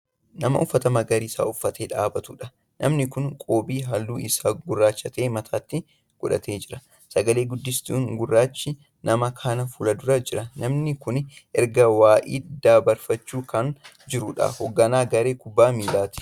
Nama uffata magariisa uffatee dhaabbatuudha. namni Kuni qoobii halluun Isaa gurraacha ta'e mataatti godhatee jira. sagalee guddistuun gurrrachi nama kana fuuldura Jira namni Kuni ergaa wa'ii dbarfachaa Kan jiruudha. hoogganaa garee kubbaa miilaati.